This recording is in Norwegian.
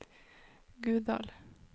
Guddal